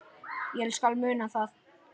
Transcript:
Ég skal muna það